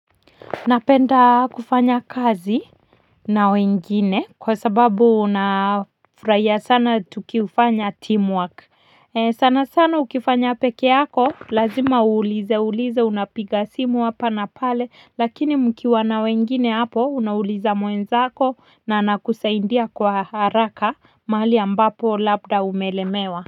Napenda kufanya kazi na wengine kwa sababu nafurahia sana tukifanya teamwork sana sana ukifanya peke yako lazima uulize ulize unapiga simu hapa na pale lakini mkiwa na wengine hapo unauliza mwenzako na anakusaidia kwa haraka mahali ambapo labda umelemewa.